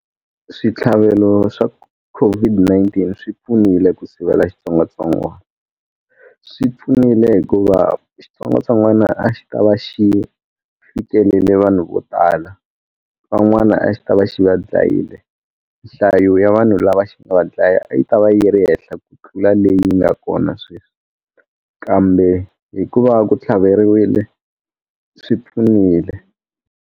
Switlhavelo swa COVID-19 swi pfunile ku sivela xitsongwatsongwana swi pfunile hikuva xitsongwatsongwana a xi ka va xi fikelele vanhu vo tala van'wana a xi ta va xi va dlayile nhlayo ya vanhu lava xi nga va dlaya yi ta va yi ri henhla ku tlula leyi nga kona sweswi kambe hikuva ku tlhaveriwile swi pfunile.